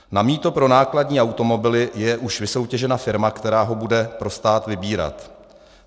Na mýto pro nákladní automobily je už vysoutěžena firma, která ho bude pro stát vybírat.